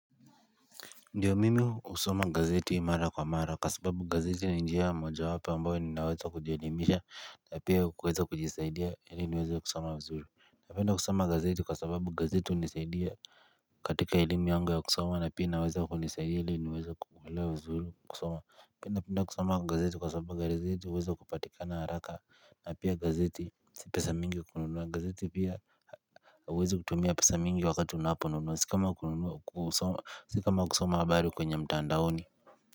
Ndiyo mimi husoma gazeti mara kwa mara kwa sababu gazeti na njia moja wapo ambayo ninaweza kujielimisha na pia kueza kujisaidia ili niweza kusoma vizuru na penda kusama gazeti kwa sababu gazeti hunisaidia katika elimu yangu ya kusoma na pia inaweza kwa nisaidia ili niweza kuelewa vizuru kusoma pia naptnda kusoma gazeti kwa sababu gazeti uweza kupatikana haraka na pia gazeti si pesa mingi kununuwa gazeti pia huwezu kutumia pisa mingi wakati unaponunu sio kama si kama kusoma habari kwenye mtandaoni.